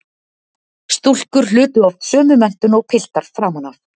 Stúlkur hlutu oft sömu menntun og piltar framan af.